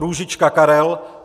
Růžička Karel